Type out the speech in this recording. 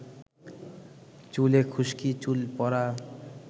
চুলে খুশকি, চুল পড়া,